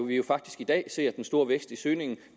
vi jo faktisk i dag ser den store vækst i søgningen